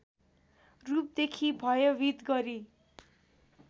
रूपदेखि भयभित गरी